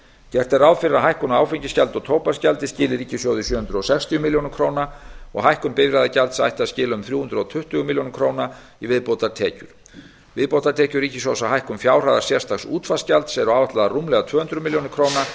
gert er ráð fyrir að hækkun á áfengisgjaldi og tóbaksgjaldi skili ríkissjóði sjö hundruð sextíu milljónir króna og hækkun bifreiðagjalds ætti að skila um þrjú hundruð tuttugu milljónir króna í viðbótartekjur viðbótartekjur ríkissjóðs af hækkun fjárhæðar sérstaks útvarpsgjalds eru áætlaðar rúmlega tvö hundruð milljóna króna